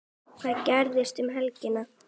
Hvað gerist um helgina?